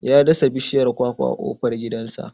Ya dasa bishiyar kwakwa a kofar gidansa.